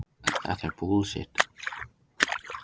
Hraðar vöðvafrumur segja þess vegna ekki alla söguna.